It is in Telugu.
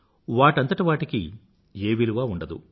వాటంతట వాటికి ఏ విలువా ఉండదు